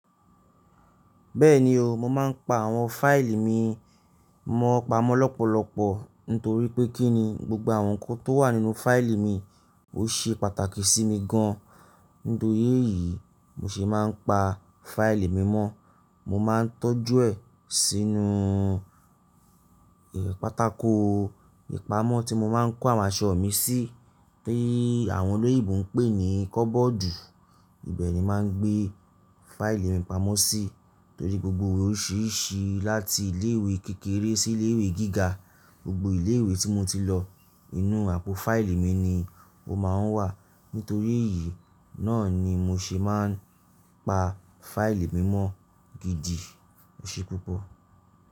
Bẹ́ẹ̀ni o, mo máa ń pa àwọn fáìlì mi mọ́ pamọ́ lọ́pọ̀lọpọ̀ nítorí pé kí ni gbogbo àwọn ǹkan tó wà nínú fáìlì mi ó ṣe pàtàkì sí mi gan an. Nítorí èyí, mo sì máa ń pa fáìlì mi mọ́. Mo máa ń tọ́jú ẹ̀ sínú pátákò ìpamọ́ tí mo máa ń kó àwọn aṣọ mi sí, tí àwọn olóyinbo ń pè ní kọ́bọ́ọ̀dù. Ibẹ̀ ni màá ń gbé fáìlì mi pamọ́ sí, torí gbogbo òwò oríṣìíríṣìí láti ilé ìwé kékeré sí ilé ìwé gíga, gbogbo ilé ìwé tí mo ti lọ, inú àpò fáìlì mi ni ó máa ń wà. Nítorí èyí náà ni mo ṣe máa ń pa fáìlì mi mọ́ gidi o ṣe púpọ̀.